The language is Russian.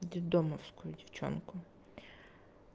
детдомовскую девчонку